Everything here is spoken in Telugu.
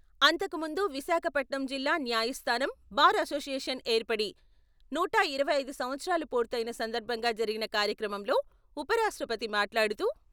అంతకుముందు విశాఖపట్నం జిల్లా న్యాయస్థానం, బార్ అసోషియేషన్ ఏర్పడి నూట ఇరవై ఐదు సంవత్సరాలు పూర్తయున సందర్భంగా జరిగిన కార్యక్రమంలో ఉపరాష్ట్రపతి మాట్లాడుతూ..